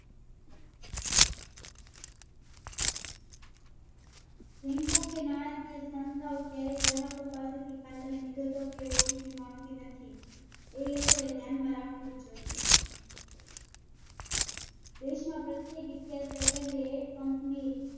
Banks કે નાણાકીય સંસ્થાઓ ક્યારેય ગ્રાહકો પાસે થી ખાતા ની વિગતો કે OTP માંગતી નથી. એ લોકો એ ધ્યાન માં રાખવું જોઈએ. દેશમાં દરેક Second એ એક Company